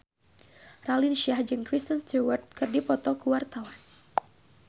Raline Shah jeung Kristen Stewart keur dipoto ku wartawan